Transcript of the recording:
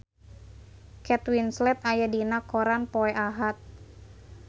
Kate Winslet aya dina koran poe Ahad